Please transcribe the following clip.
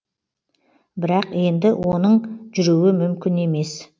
бірақ енді оның жүруі мүмкін емес